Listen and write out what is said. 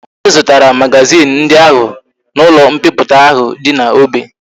Anyi zutara magazin ndi ahu na ulo mpiputa ahu di na obe